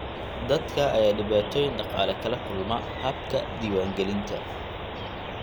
Dadka ayaa dhibaatooyin dhaqaale kala kulma habka diiwaangelinta.